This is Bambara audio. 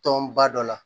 Tɔn ba dɔ la